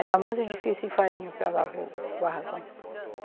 Era muito difícil ir farinha para lá para o barracão.